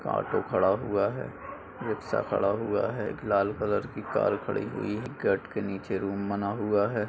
Auto खड़ा हुआ है रिक्शा खड़ा हुआ है एक लाल कलर की कार खड़ी हुई है कट के नीचे रूम बना हुआ है।